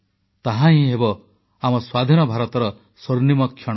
ତାହାହିଁ ହେବ ଆମ ସ୍ୱାଧୀନ ଭାରତର ସ୍ୱର୍ଣ୍ଣିମ କ୍ଷଣ